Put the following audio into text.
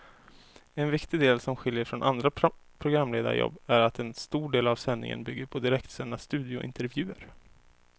En viktig del som skiljer från andra programledarjobb är att en stor del av sändningen bygger på direktsända studiointervjuer.